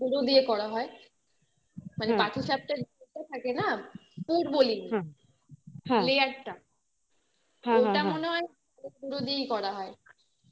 চালের গুঁড়ো দিয়ে করা হয় মানে পাটিসাপটার মধ্যে থাকে তাই না পুর বলি layer টা ওটা মনে হয় চালের গুঁড়ো দিয়ে করা হয়